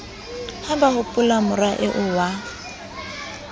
ha ba hopolamora eo wa